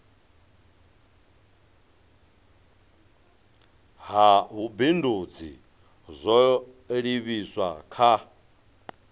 ha vhubindudzi zwo livhiswa kha